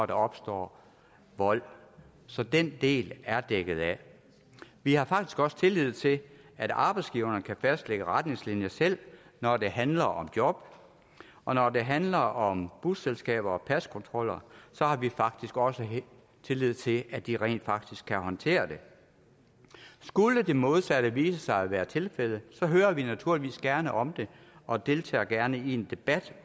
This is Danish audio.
der opstår vold så den del er dækket af vi har faktisk også tillid til at arbejdsgiverne kan fastlægge retningslinjer selv når det handler om job og når det handler om busselskaber og paskontroller har vi faktisk også tillid til at de rent faktisk kan håndtere det skulle det modsatte vise sig at være tilfældet hører vi naturligvis gerne om det og deltager gerne i en debat